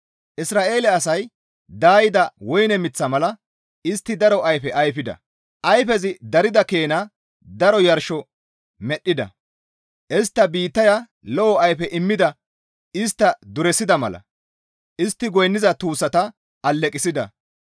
Isra7eele asay daayida woyne miththa mala. Istti daro ayfe ayfida; ayfezi darida keena daro yarshosoho medhdhida. Istta biittaya lo7o ayfe immada istta duresida mala istti goynniza tuussata aleqessida.